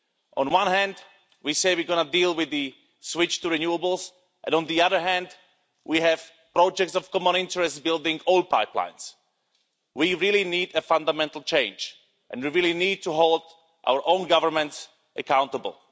On one hand, we say we're going to deal with the switch to renewables, and on the other hand we have projects of common interest building oil pipelines. We really need a fundamental change and we really need to hold our own government accountable.